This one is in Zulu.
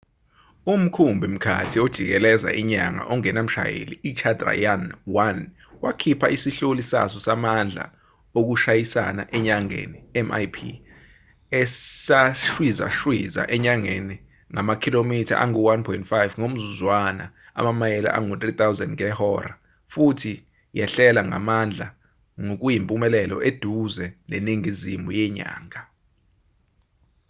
umkhumbi-mkhathi ojikeleza inyanga ongenamshayeli ichandrayaan-1 wakhipha isihloli saso samandla okushayisana enyangeni mip esashwizashwiza enyangeni ngamakhilomitha angu-1.5 ngomzuzwana amamayeli angu-3000 ngehora futhi yehlela ngamandla ngokuyimpumelelo eduze neningizimu yenyanga